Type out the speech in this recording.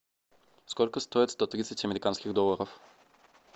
сколько стоит сто тридцать американских долларов